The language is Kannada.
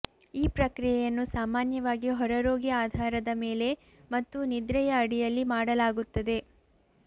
ಈ ಪ್ರಕ್ರಿಯೆಯನ್ನು ಸಾಮಾನ್ಯವಾಗಿ ಹೊರರೋಗಿ ಆಧಾರದ ಮೇಲೆ ಮತ್ತು ನಿದ್ರೆಯ ಅಡಿಯಲ್ಲಿ ಮಾಡಲಾಗುತ್ತದೆ